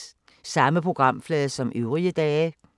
Samme programflade som øvrige dage